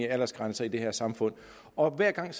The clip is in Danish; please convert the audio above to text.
af aldersgrænser i det her samfund og hver gang